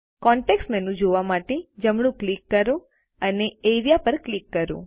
context menu જોવા માટે જમણું ક્લિક કરો અને એઆરઇએ પર ક્લિક કરો